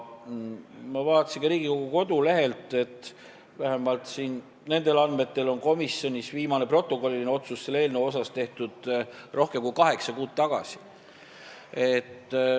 Ma vaatasin ka Riigikogu kodulehte, vähemalt nendel andmetel on komisjonis viimane protokolliline otsus selle eelnõu kohta tehtud rohkem kui kaheksa kuud tagasi.